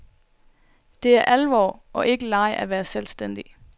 Det er alvor og ikke leg at være selvstændig.